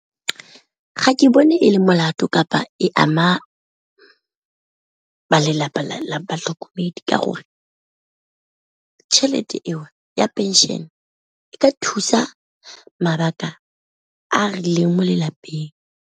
Ga ke bone e le molato kapa e ama ba lelapa la batlhokomedi, ka gore tšhelete eo ya pension e ka thusa mabaka a rileng mo le lapeng.